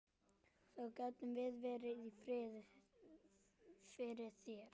Þá gátum við verið í friði fyrir þér!